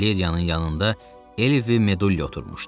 Valeriyanın yanında Elvi Meduyo oturmuşdu.